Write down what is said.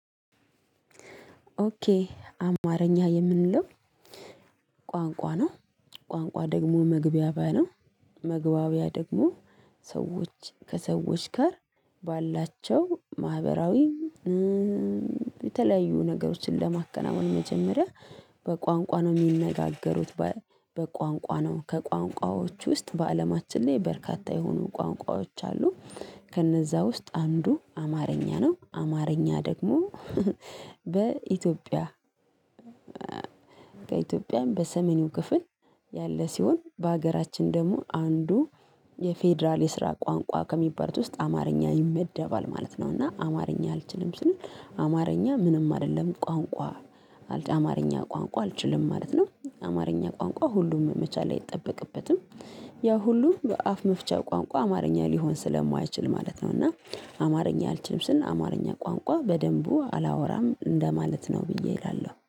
ኦኬ አማርኛ የምንለው ቋንቋ ነው ቋንቋ ደግሞ መግባቢያ ነው። መግባቢያ ደግሞ ሰዎች ከሰዎች ጋር ባላቸው ማህበራዊ የተለያዩ ነገሮችን ለማከናወን መጀመሪያ በቋንቋ ነው የሚነጋገሩት። በቋንቋ ነው ከቋንቋዎች ውስጥ በአለማችን ላይ በርካታ የሆኑ ቋንቋዎች አሉ። ከነዛ ውስጥ አንዱ አማርኛ ነው አማርኛ ደግሞ በኢትዮጵያ ከኢትዮጵያም በሰሜን ክፍል ያለ ሲሆን በሀገራችን ደግሞ አንዱ የፌደራል የስራ ቋንቋ ከሚባል ውስጥ አማርኛ ይመደባል ማለት ነው። እና አማርኛ አልችልም ስል አማርኛ ምንም አይደለም። ቋንቋ አልችልም ማለት ነው። አማርኛ ቋንቋ ሁሉም መቻል አይጠበቅበትም። ያ ሁሉ በአፍ መፍቻ ቋንቋ አማርኛ ሊሆን ስለማይችል ማለት ነው። እና አማርኛ አልችልም ስል አማርኛ ቋንቋ በደንቡ አላወራም እንደማለት ነው ብዬ እላለሁ